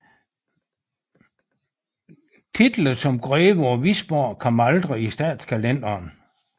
Titlen som greve af Wisborg kom aldrig i statskalenderen